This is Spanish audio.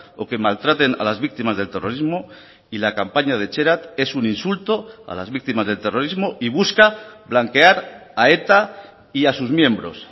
o que maltraten a las víctimas del terrorismo y la campaña de etxerat es un insulto a las víctimas del terrorismo y busca blanquear a eta y a sus miembros